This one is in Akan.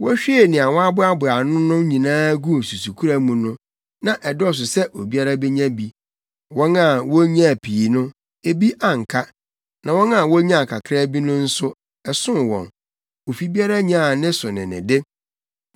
Wohwiee nea wɔaboaboa ano no nyinaa guu susukoraa mu no, na ɛdɔɔso sɛ obiara benya bi. Wɔn a wonyaa pii no, ebi anka, na wɔn a wonyaa kakraa bi no nso, ɛsoo wɔn. Ofi biara nyaa ne so ne ne de.